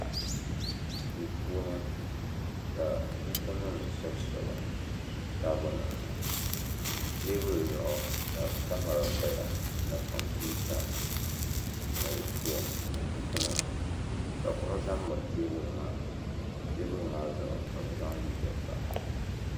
duu puuni ka buku nim shɛbi shɛbi taabo nim ni teebuli zuɣu ka kamɛra paya ka kompiuta ni foon ni buku nima ka kuɣu ʒɛ n miri teebuli maa teebuli maa zuɣu ka bi zaŋ liiga pa